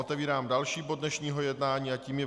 Otvírám další bod dnešního jednání a tím je